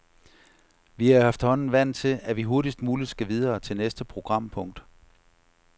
Vi er efterhånden vant til, at vi hurtigst muligt skal videre til næste programpunkt.